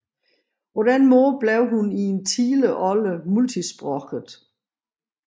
På den måde blev hun i en tidlig alder multisproget